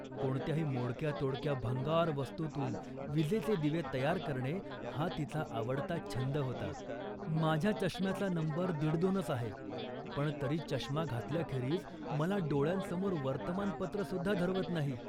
कोणत्याही मोडक्या तोडक्या भंगार वस्तूतून विजेचे दिवे तयार करणे हा तिचा आवडता छंद होता. माझ्या चष्म्याचा नंबर दीडदोनच आहे, पण तरी चष्मा घातल्याखेरीज मला डोळ्यांसमोर वर्तमानपत्रसुद्धा धरवत नाही